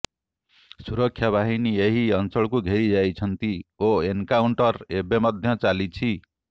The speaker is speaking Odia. ସୁରକ୍ଷାବାହିନୀ ଏହି ଅଞ୍ଚଳକୁ ଘେରିଯାଇଛନ୍ତି ଓ ଏନକାଉଣ୍ଟର ଏବେ ମଧ୍ୟ ଚାଲିଛି